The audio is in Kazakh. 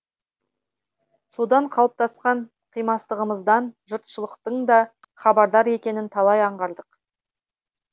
содан қалыптасқан қимастығымыздан жұртшылықтың да хабардар екенін талай аңғардық